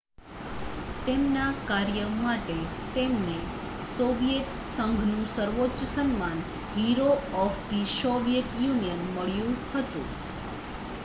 "તેમના કાર્ય માટે તેમને સોવિયેત સંઘનું સર્વોચ્ચ સન્માન "hero of the Soviet Union" મળ્યું હતું.